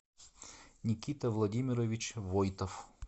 никита владимирович войтов